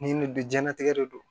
Ni nin diɲɛlatigɛ de don